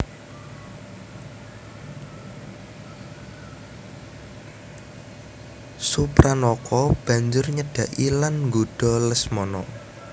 Supranaka banjur nyedhaki lan nggodha Lesmana